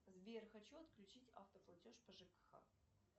сбер хочу отключить автоплатеж по жкх